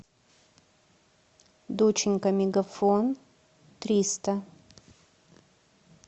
доченька мегафон триста